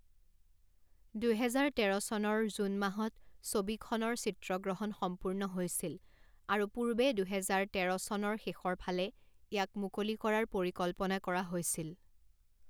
দুহেজাৰ তেৰ চনৰ জুন মাহত ছবিখনৰ চিত্ৰগ্ৰহণ সম্পূৰ্ণ হৈছিল আৰু পূৰ্বে দুহেজাৰ তেৰ চনৰ শেষৰ ফালে ইয়াক মুকলি কৰাৰ পৰিকল্পনা কৰা হৈছিল।